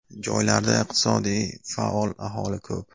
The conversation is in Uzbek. Joylarda iqtisodiy faol aholi ko‘p.